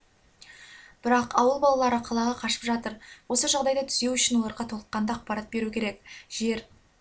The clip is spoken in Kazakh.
бірақ ауыл балалары қалаға қашып жатыр осы жағдайды түзеу үшін оларға толыққанды ақпарат беру керек жер